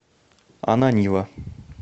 ананьева